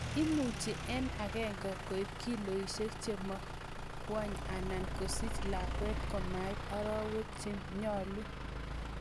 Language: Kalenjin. imuchi en agengei koib kiloisiek chemingweny anan kesich lakwet komait arowek chenyalu